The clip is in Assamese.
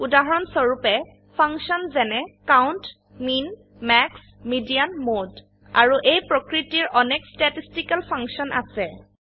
উদাহৰণস্বৰুপে ফাংশন যেনে count mean max median mode আৰু এই প্ৰকৃতিৰ অনেক ষ্টেটিষ্টিকেল ফাংশন আছে